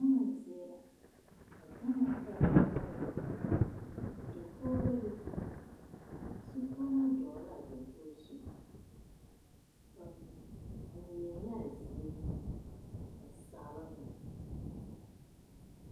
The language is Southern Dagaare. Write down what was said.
Gama zeɛ la a gama pere pere la dakuo bebe zukouraa dou laa dakogo zu ba meelaa zeɛ ba saaloo la.